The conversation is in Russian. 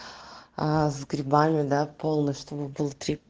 а с грибами да полностью мы был три